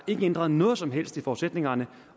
ikke ændret noget som helst i forudsætningerne